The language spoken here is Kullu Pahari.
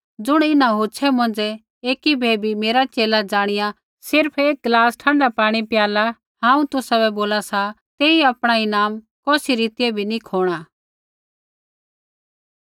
ज़ुण इन्हां हौछ़ै मौंझ़ै एकी बै भी मेरा च़ेला ज़ाणिया सिर्फ़ एक गलास ठँडा पाणी पियाला हांऊँ तुसाबै बोला सा तेई आपणा ईनाम कौसी रीतियै भी नी खोणा